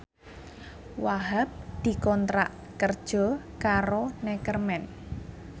Wahhab dikontrak kerja karo Neckerman